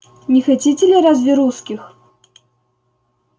не хотите ли разве русских